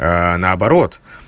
наоборот